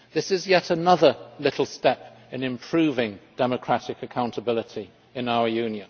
This is yet another little step in improving democratic accountability in the EU.